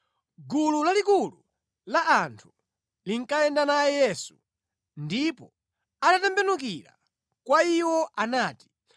Gulu lalikulu la anthu linkayenda naye Yesu ndipo atatembenukira kwa iwo anati,